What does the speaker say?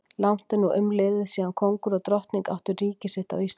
Langt er nú umliðið síðan kóngur og drottning áttu ríki sitt á Íslandi.